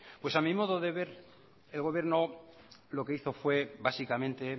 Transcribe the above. pues a mi modo de ver el gobierno lo que hizo fue básicamente